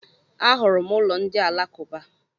A hụrụ m ụlọ ndị Alakuba.